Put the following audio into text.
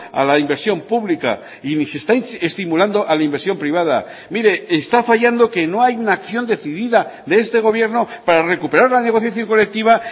a la inversión pública y ni se está estimulando a la inversión privada mire está fallando que no hay una acción decidida de este gobierno para recuperar la negociación colectiva